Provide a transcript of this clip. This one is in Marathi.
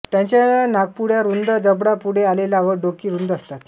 त्यांच्या नाकपुड्या रुंद जबडा पुढे आलेला व डोकी रुंद असतात